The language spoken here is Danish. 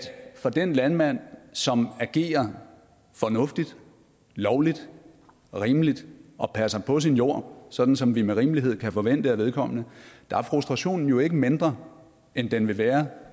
for den landmand som agerer fornuftigt lovligt rimeligt og passer på sin jord sådan som vi med rimelighed kan forvente af vedkommende er frustrationen jo ikke mindre end den vil være